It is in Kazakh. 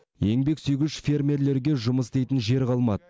еңбексүйгіш фермерлерге жұмыс істейтін жер қалмады